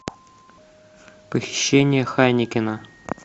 похищение хайнекена